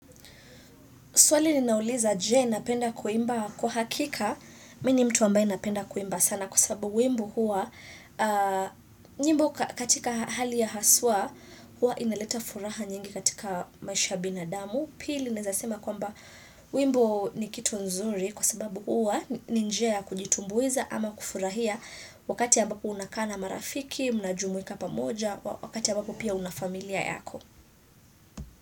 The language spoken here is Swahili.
Swali ninauliza je napenda kuimba kwa hakika. Mimi mtu ambaye napenda kuimba sana kwa sababu wimbo huwa. Nyimbo katika hali ya haswa huwa inaleta furaha nyingi katika maisha ya binadamu. Pili ninawezasema kwamba wimbo ni kitu nzuri kwa sababu huwa ni njia kujitumbuiza ama kufurahia. Wakati ambapo unakaa na marafiki, mnajumuika pamoja, wakati ambapo pia una familia yako.